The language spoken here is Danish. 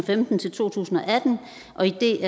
et